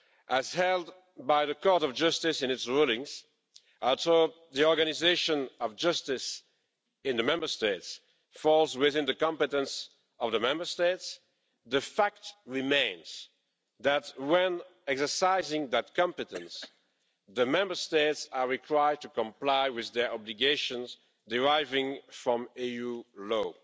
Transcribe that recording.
As held by the Court of Justice in its rulings, although the organisation of justice in the Member States falls within the competence of the Member States, the fact remains that, when exercising that competence, the Member States are required to comply with their obligations deriving from EU law.